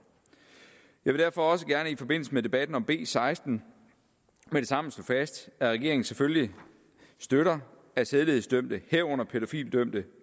jeg vil derfor også gerne i forbindelse med debatten om b seksten med det samme slå fast at regeringen selvfølgelig støtter at sædelighedsdømte herunder pædofilidømte